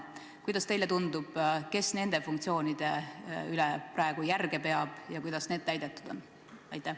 Kuidas teile tundub, kes nende funktsioonide üle praegu järge peab ja kuidas need täidetud on?